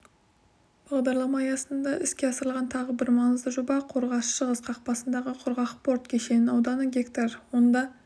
бағдарлама аясында іске асырылған тағы бір маңызды жоба қорғас-шығыс қақпасындағы құрғақ порт кешеннің ауданы га онда